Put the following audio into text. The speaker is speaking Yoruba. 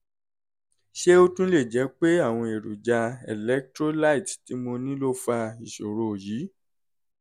ṣé ó tún lè jẹ́ pé àwọn èròjà electrolyte tí mo ní ló fa ìṣòro yìí?